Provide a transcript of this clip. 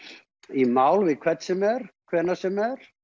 í mál við hvern sem er hvenær sem er